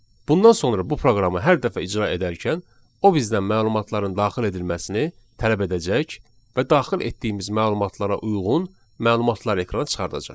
Bundan sonra bu proqramı hər dəfə icra edərkən o bizdən məlumatların daxil edilməsini tələb edəcək və daxil etdiyimiz məlumatlara uyğun məlumatlar ekrana çıxardacaq.